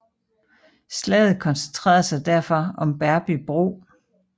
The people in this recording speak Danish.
Slaget koncentrerede sig derfor om Berby bro